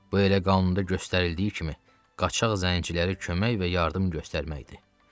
Bu elə qanunda göstərildiyi kimi qaçıq zənciləri kömək və yardım göstərməkdir.